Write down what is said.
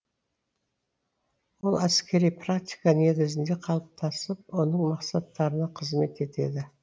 ол әскери практика негізінде қалыптасып оның мақсаттарына қызмет етеді